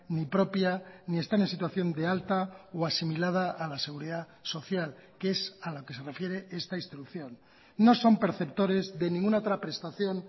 ni propia ni están en situación de alta o asimilada a la seguridad social que es a la que se refiere esta instrucción no son perceptores de ninguna otra prestación